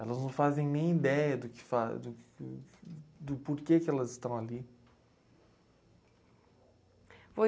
Elas não fazem nem ideia do que faz, do... Do porquê que elas estão ali.